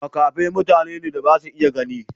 Makafi mutane ne da ba su iya gani.